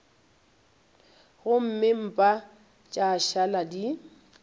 gomme mpa tša šala di